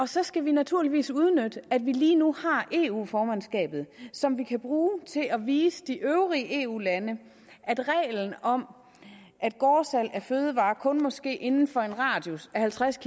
så skal vi naturligvis udnytte at vi lige nu har eu formandskabet som vi kan bruge til at vise de øvrige eu lande at reglen om at gårdsalg af fødevarer kun må ske inden for en radius af halvtreds